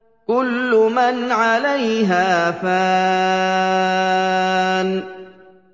كُلُّ مَنْ عَلَيْهَا فَانٍ